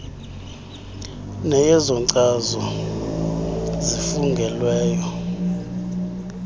neyezo nkcazo zifungelweyo